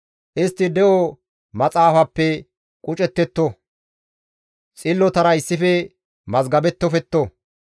Istti de7o maxaafappe qucettetto; xillotara issife mazgabettofetto.